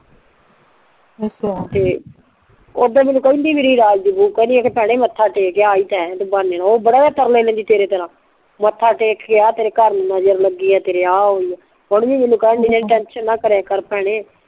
ਅੱਛਾ ਤੇ ਓਦਾ ਮੈਂਨੂੰ ਕਿਹੰਦੀ ਸੀ ਮੈਂਨੂੰ ਰਾਜ ਦੀ ਬਹੁ ਕਿਹੰਦੀ ਭੈਣੇ ਮੱਥਾ ਟੇਕ ਆ ਆਈ ਤਾਂ ਹੈ ਤੂ ਬਹਾਨੇ ਨਾਲ ਬੜਾ ਓ ਤਰਲੇ ਲੈਂਦੀ ਤੇਰੇ ਤਰਾਂ ਮੱਥਾ ਟੇਕ ਕ ਆ ਤੇਰੇ ਘਰ ਨੂ ਨਜ਼ਰ ਲੱਗੀ ਤੇਰੇ ਆ ਹੋਈ ਆ ਹੁਣ ਵੀ ਮੈਂਨੂੰ ਕਿਹੰਦੀ ਸੀ ਟੈਂਸ਼ਨ ਨਾ ਲੀਆ ਕਰ ਭੈਣੇ